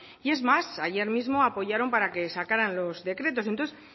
y es más ayer mismo apoyaron para que sacaran los decretos y entonces